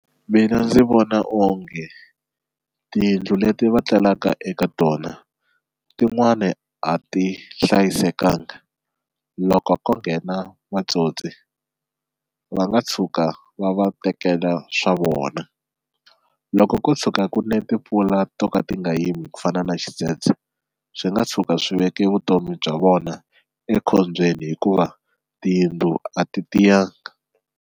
Mina ndzi vona onge tiyindlu leti va etlelaka eka tona tin'wani a ti hlayisekanga loko ko nghena matsotsi va nga tshuka va va tekela swa vona loko ko tshuka ku ni timpfula to ka ti nga yimi ku fana na xidzedze, swi nga tshuka swi veke vutomi bya vona ekhombyeni hikuva tiyindlu a ti tiyanga.